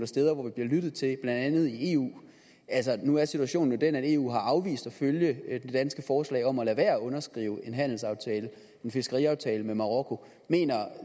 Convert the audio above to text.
steder hvor der bliver lyttet til dem blandt andet i eu altså nu er situationen jo den at eu har afvist at følge det danske forslag om at lade være med at underskrive en handelsaftale en fiskeriaftale med marokko mener